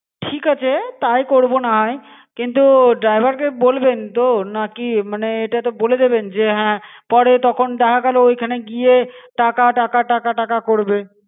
ঠিক আছে তাই করবো না হয় কিন্তু driver কে বলবেন তো নাকি মানে এটা তো বলে দেবেন যে হ্যা পরে তখন দেখা গেলো ঐখানে গিয়ে টাকা টাকা টাকা টাকা করবে.